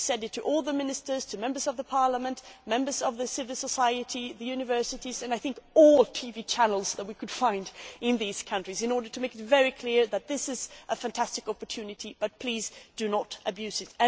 We said it to all the Ministers, to members of the parliament, members of civil society, the universities and, I think, all the TV channels that we could find in these countries, in order to make it very clear that this is a fantastic opportunity but please do not abuse it.